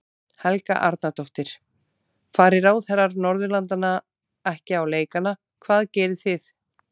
Helga Arnardóttir: Fari ráðherrar Norðurlandanna ekki á leikana hvað gerið þið?